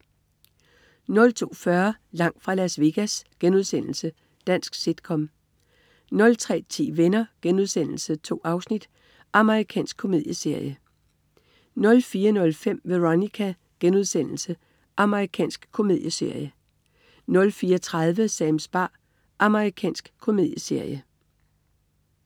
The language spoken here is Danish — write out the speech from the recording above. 02.40 Langt fra Las Vegas.* Dansk sit-com 03.10 Venner.* 2 afsnit. Amerikansk komedieserie 04.05 Veronica.* Amerikansk komedieserie 04.30 Sams bar. Amerikansk komedieserie